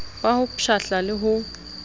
ba ho pshatla le ho